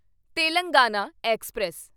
Telangana express